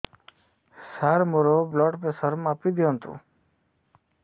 ସାର ମୋର blood pressure ମାପି ଦିଅନ୍ତୁ